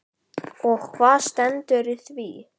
Og hvað stendur í því?